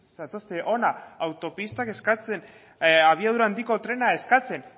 zatozte hona autopistak eskatzen abiadura handiko trena eskatzen